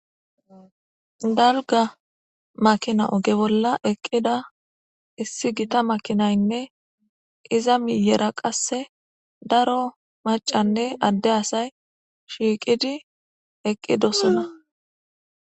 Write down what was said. Galga makina oge bolla eqqida issi gita makinaynne iza miyera qasse daro macanne adde asay shiiqidi eqqidosona.